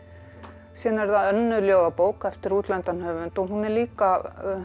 síðan er það önnur ljóðabók eftir útlendan höfund hún líka